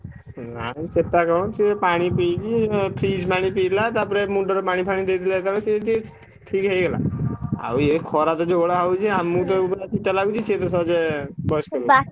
ନାଇଁ ଚେତା କଣ ସେ ପାଣି ପିଇକି ଉଁ freeze ପାଣି ପିଇଲା। ତାପରେ ମୁଣ୍ଡରେ ପାଣି ଫାଣି ଦେଇଦେଲେ ଯେମିତି ସିଏ ଠିକ୍ ଠିକ୍ ହେଇଗଲା। ଆଉ ଇଏ ଖରା ତ ଯୋଉଭଳିଆ ହଉଛି ଆମୁକୁ ତ ଯୋଉଭଳିଆ ପିତା ଲାଗୁଚି ସିଏତ ସହଜେ ବୟସ୍କ ଲୋକ।